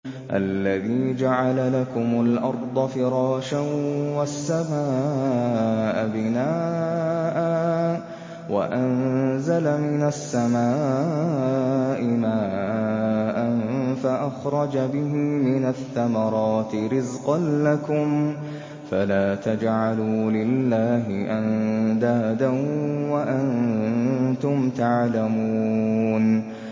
الَّذِي جَعَلَ لَكُمُ الْأَرْضَ فِرَاشًا وَالسَّمَاءَ بِنَاءً وَأَنزَلَ مِنَ السَّمَاءِ مَاءً فَأَخْرَجَ بِهِ مِنَ الثَّمَرَاتِ رِزْقًا لَّكُمْ ۖ فَلَا تَجْعَلُوا لِلَّهِ أَندَادًا وَأَنتُمْ تَعْلَمُونَ